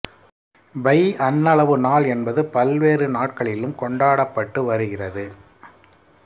by அண்ணளவு நாள் என்பது பல்வேறு நாட்களிலும் கொண்டாடப்பட்டு வருகிறது